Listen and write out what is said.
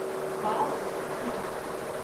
пао совкомбанк